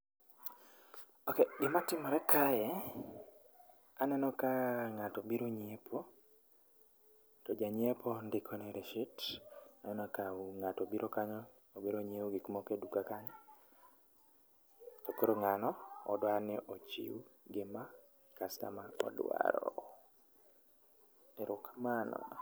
Ok, gima timre kae, aneno ka ngato obiro nyiepo, to janyiepo ndikone rishit. Aneno ka ngato obiro kanyo obiro nyiew gik moko e duka kanyo, koro ngano odwani ochiw gima kastoma dwaro. Erokamano